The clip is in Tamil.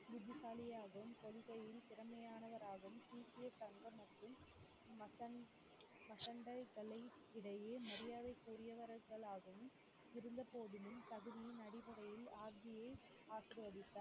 புத்திசாலியாகவும் கொள்கையில் திறமையானவராகவும் சீக்கிய சங்கம் மற்றும் மசண்~ மசண்டைகளை இடையே மரியாதைக்குரியவர்களாகவும் இருந்தபோதிலும் தகுதியின் அடிப்படையில் ஆப்ஜியை ஆசிர்வதித்தார்